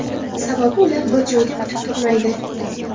Sababi ular bir joyda kutib turmaydi.